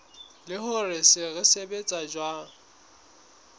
le hore se sebetsa jwang